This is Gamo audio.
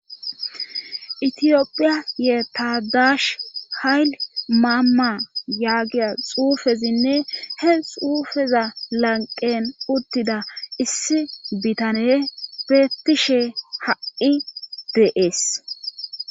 itiyophiya ye tadaash hayli maamma yaagiya xuufezinne he xuufeza lanqen uttida issi biittaney bettishe ha'i deees